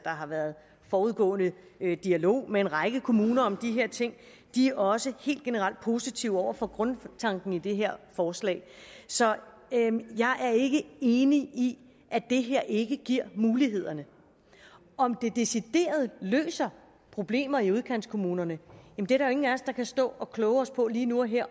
har været en forudgående dialog med en række kommuner om de her ting og de er også helt generelt positive over for grundtanken i det her forslag så jeg er ikke enig i at det her ikke giver mulighederne om det decideret løser problemer i udkantskommunerne er der ingen af os der kan stå og kloge sig på lige nu og her